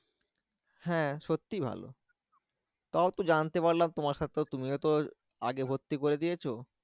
হ্যাঁ সত্যিই ভালো তাও তো জানতে পারলাম তোমার সাথে তুমি তো আগে ভর্তি করে দিয়েছো